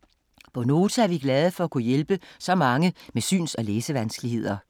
På Nota er vi glade for at kunne hjælpe så mange med syns- og læsevanskeligheder.